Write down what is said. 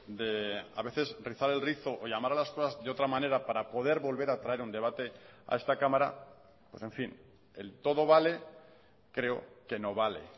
de a veces rizar el rizo o llamar a las cosas de otra manera para poder volver a traer un debate a esta cámara en fin el todo vale creo que no vale